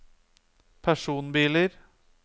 personbiler